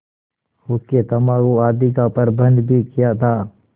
हुक्केतम्बाकू आदि का प्रबन्ध भी किया था